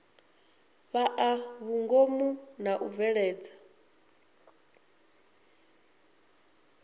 fhaa vhungomu na u bveledza